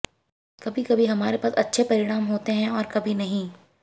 कभी कभी हमारे पास अच्छे परिणाम होते हैं और कभी नहीं